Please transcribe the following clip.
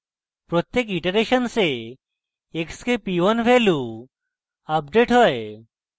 প্রত্যেক ইটারেশন্সে x k p 1 value update হয়